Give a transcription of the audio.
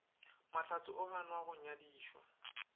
mahlatse o ganwa go nyadišwa